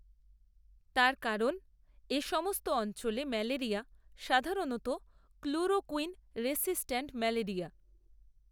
তার কারণ, এ সমস্ত অঞ্চলে ম্যালেরিয়া সাধারণত, ক্লোরোকূইন, রেসিস্ট্যান্ট ম্যালেরিয়া